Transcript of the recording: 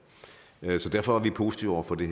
derfor er vi positive over for det